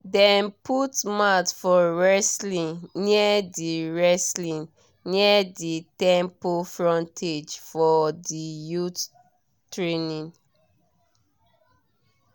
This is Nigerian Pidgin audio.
dem put mat for wrestling near di wrestling near di temple frontage for the youth training